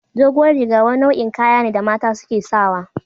Duguwar riga wani nau'in kayane da mata suke sawa.